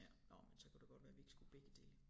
Ja nåh men så kunne det godt være vi ikke skulle begge dele